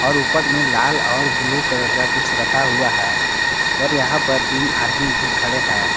ऊपर में लाल और ब्लू कलर का कुछ रखा हुआ है और यहां पर तीन आदमी भी खड़े हैं।